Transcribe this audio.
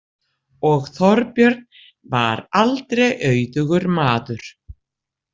Og Þorbjörn var aldrei auðugur maður.